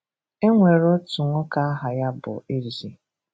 E nwere otu nwoke aha ya bụ Ezi.